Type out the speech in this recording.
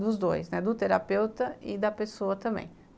dos dois, do terapeuta e da pessoa também.